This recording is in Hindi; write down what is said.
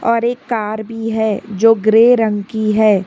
और एक कार भी है जो ग्रे रंग की है।